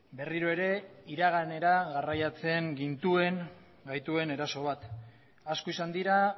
berriro ere iraganera garraiatzen gintuen gaituen eraso bat asko izan dira